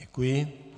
Děkuji.